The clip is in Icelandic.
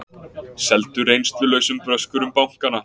Seldu reynslulausum bröskurum bankana